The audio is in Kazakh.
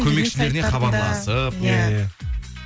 көмекшілеріне хабарласып иә